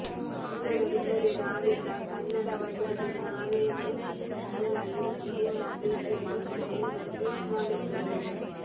ಕನ್ನಡವಿಲ್ಲದೆ ನಾವಿಲ್ಲ ಕನ್ನಡವಲ್ಲದೆ ನಾವೇನು ಅಲ್ಲ ಇಂತಿ ನಿಮ್ಮ ಪ್ರೀತಿಯ ಕಿಚ್ಚ ಎಂದು ಟ್ವೀಟ್ ಮಾಡಿದ್ದರು